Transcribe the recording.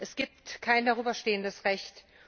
Es gibt kein darüberstehendes Recht.